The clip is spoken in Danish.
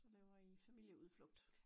Så laver I familieudflugt